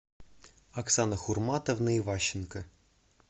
оксана хурматовна иващенко